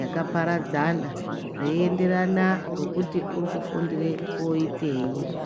yakaparadzana zveienderana ngokuti uri kufundire koitei.